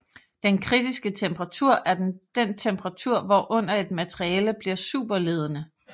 Den kritiske temperatur er den temperatur hvorunder et materiale bliver superledende